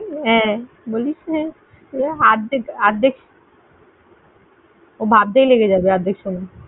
বলিস তুই। অর্ধেক~অর্ধেক ভাবতেই লেগে যাবে অর্ধেক সময়।